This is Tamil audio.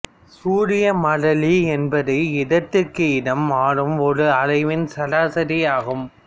சூரிய மாறிலி என்பது இடத்திற்கு இடம் மாறும் ஒரு அளவின் சராசரி ஆகும்